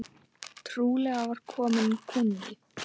Trúlega var kominn kúnni.